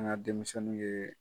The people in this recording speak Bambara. An ka denmisɛnw nu ye